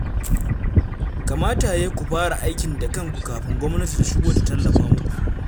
Kamata ya yi ku fara aikin da kanku kafin gwamnati ta shigo ta tallafa muku.